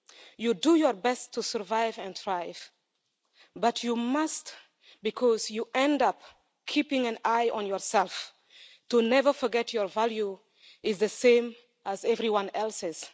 You do your best to survive and thrive, but you must, because you end up keeping an eye on yourself to never forget your value is the same as everyone else's.